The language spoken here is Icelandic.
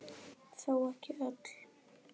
Þó ekki öll.